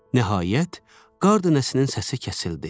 Nəhayət, qar dənəsinin səsi kəsildi.